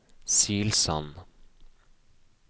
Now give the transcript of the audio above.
Silsand